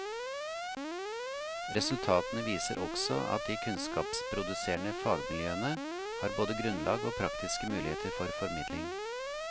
Resultatene viser også at de kunnskapsproduserende fagmiljøene, har både grunnlag og praktiske muligheter for formidling.